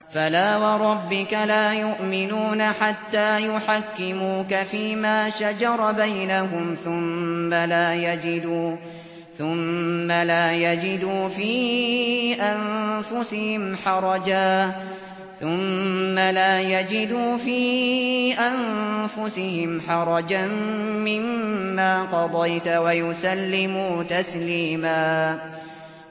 فَلَا وَرَبِّكَ لَا يُؤْمِنُونَ حَتَّىٰ يُحَكِّمُوكَ فِيمَا شَجَرَ بَيْنَهُمْ ثُمَّ لَا يَجِدُوا فِي أَنفُسِهِمْ حَرَجًا مِّمَّا قَضَيْتَ وَيُسَلِّمُوا تَسْلِيمًا